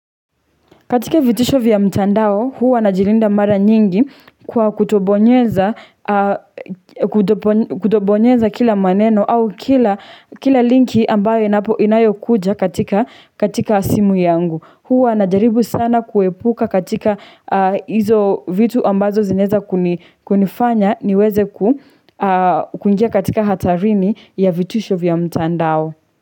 Katika vitisho vya mtandao, huwa najilinda mara nyingi kwa kutobonyeza kutobonyeza kila maneno au kila linki ambayo inayo kuja katika simu yangu. Huwa najaribu sana kuepuka katika hizo vitu ambazo zinaeza kunifanya niweze kuingia katika hatarini ya vitisho vya mtandao.